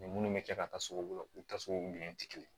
Ni minnu bɛ kɛ ka taa sugu la u ta sugu minɛn tɛ kelen ye